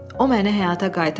O məni həyata qaytardı.